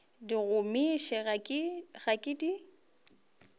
di gomiša ga ke di